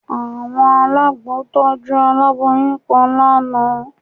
Àwọn alágbo tọ́jú aláboyún kan lánàá